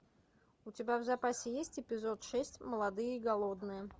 у тебя в запасе есть эпизод шесть молодые и голодные